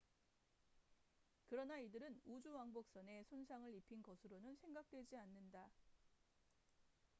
그러나 이들은 우주왕복선에 손상을 입힌 것으로는 생각되지 않는다